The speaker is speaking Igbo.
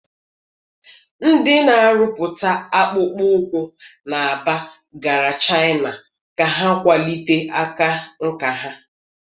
Ndị na-arụpụta akpụkpọ ụkwụ na Aba gara Chaịna ka ha kwalite aka nka ha.